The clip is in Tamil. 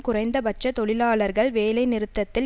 குறைந்த பட்ச தொழிலாளர்கள் வேலைநிறுத்தத்தில்